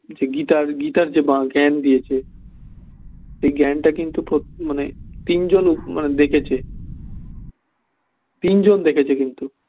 গীতার গীতার যে জ্ঞান দিয়েছে সেই জ্ঞান টা কিন্তু তোর মানে তিনজন দেখেছে তিনজন দেখেছে কিন্তু